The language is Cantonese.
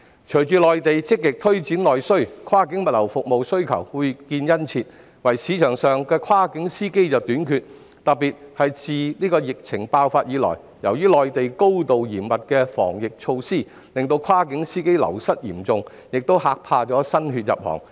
隨着內地積極推行內需政策，跨境物流服務需求越見殷切，但市場上跨境司機短缺，特別是疫情爆發以來，內地高度嚴密的防疫措施令跨境司機嚴重流失，亦嚇怕新血入行。